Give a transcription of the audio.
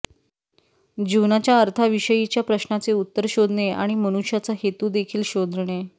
जीवनाच्या अर्थाविषयीच्या प्रश्नाचे उत्तर शोधणे आणि मनुष्याचा हेतू देखील शोधणे